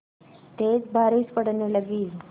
तेज़ बारिश पड़ने लगी